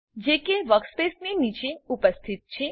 જે કે વર્કસ્પેસની નીચે ઉપસ્થિત છે